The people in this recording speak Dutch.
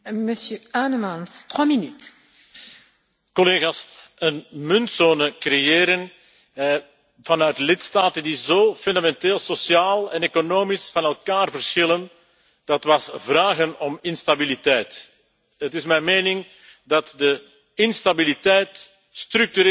Collega's, een muntzone creëren vanuit lidstaten die sociaal en economisch zo fundamenteel van elkaar verschillen, dat was vragen om instabiliteit. Het is mijn mening dat de instabiliteit structureel ingebakken was in het euro concept.